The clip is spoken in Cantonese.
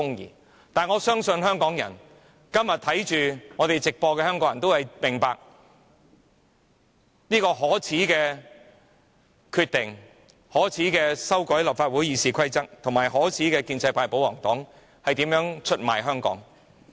然而，我相信今天正在收看直播的香港人都明白這是一個可耻的決定，可耻的建制派或保皇黨議員正透過修改立法會《議事規則》出賣香港。